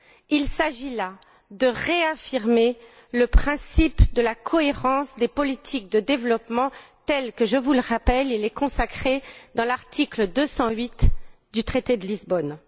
Il s'agit là de réaffirmer le principe de la cohérence des politiques de développement tel que je vous le rappelle il est consacré à l'article 208 du traité de Lisbonne.